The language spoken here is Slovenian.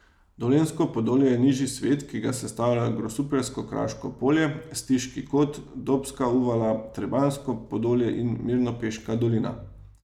Dolenjsko podolje je nižji svet, ki ga sestavljajo Grosupeljsko kraško polje, Stiški kot, Dobska uvala, Trebanjsko podolje in Mirnopeška dolina.